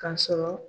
Ka sɔrɔ